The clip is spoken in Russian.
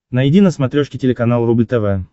найди на смотрешке телеканал рубль тв